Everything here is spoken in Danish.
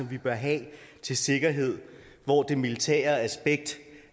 vi bør have til sikkerhed hvor det militære aspekt